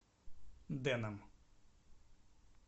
дэном